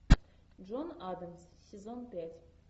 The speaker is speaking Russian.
джон адамс сезон пять